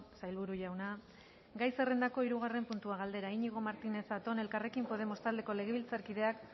sailburu jauna gai zerrendako hirugarren puntua galdera iñigo martínez zatón elkarrekin podemos taldeko legebiltzarkideak